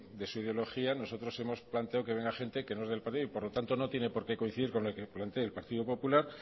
de su ideología nosotros hemos planteado que venga gente que no es del partido y por lo tanto no tiene por qué coincidir con el que plantee el partido popular